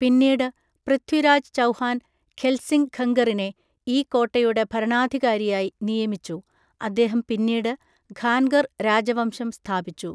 പിന്നീട് പൃഥ്വിരാജ് ചൗഹാൻ ഖെത്സിംഗ് ഖംഗറിനെ ഈ കോട്ടയുടെ ഭരണാധികാരിയായി നിയമിച്ചു, അദ്ദേഹം പിന്നീട് ഖാൻഗർ രാജവംശം സ്ഥാപിച്ചു.